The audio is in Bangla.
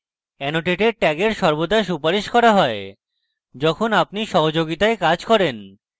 annotated tag এর সর্বদা সুপারিশ করা হয় যখন আপনি সহযোগিতায় কাজ করেন